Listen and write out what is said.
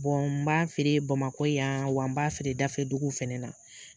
n b'a feere bamakɔ yan, wa n b'a feere dafɛdugu fɛnɛ na.